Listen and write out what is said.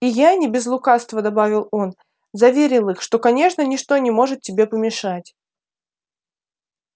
и я не без лукавства добавил он заверил их что конечно ничто не может тебе помешать